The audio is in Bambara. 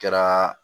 Kɛra